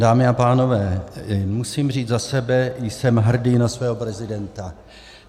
Dámy a pánové, musím říci za sebe, jsem hrdý na svého prezidenta.